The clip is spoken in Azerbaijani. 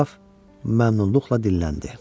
Qraf məmnunluqla dilləndi.